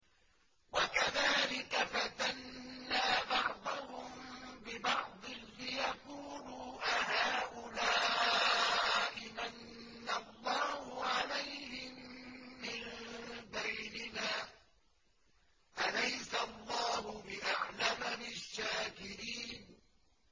وَكَذَٰلِكَ فَتَنَّا بَعْضَهُم بِبَعْضٍ لِّيَقُولُوا أَهَٰؤُلَاءِ مَنَّ اللَّهُ عَلَيْهِم مِّن بَيْنِنَا ۗ أَلَيْسَ اللَّهُ بِأَعْلَمَ بِالشَّاكِرِينَ